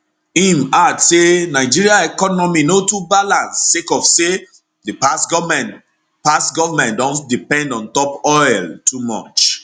im add say nigeria economy no too balance sake of say di past goment past goment don depend ontop oil too much